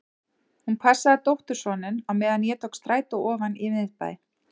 Hún passaði dóttursoninn á meðan ég tók strætó ofan í miðbæ.